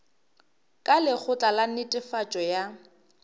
ka lekgotla la netefatšo ya